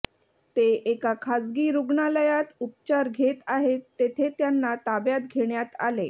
ते एका खासगी रुग्णालयात उपचार घेत आहेत तेथे त्यांना ताब्यात घेण्यात आले